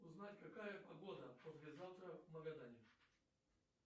узнать какая погода послезавтра в магадане